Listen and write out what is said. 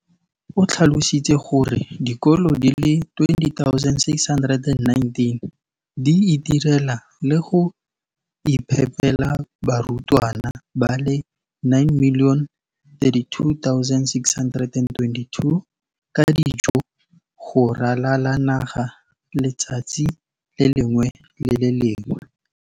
o tlhalositse gore dikolo di le 20 619 di itirela le go iphepela barutwana ba le 9 032 622 ka dijo go ralala naga letsatsi le lengwe le le lengwe.